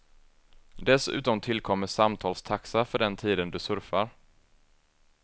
Dessutom tillkommer samtalstaxa för den tiden du surfar.